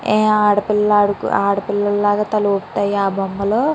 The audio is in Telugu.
ఆడ పిల్లలు ఆడు ఆడపిల్లల లాగా తల ఊపుతాయి ఆ బొమ్మలు.